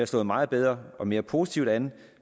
slået meget bedre og mere positivt an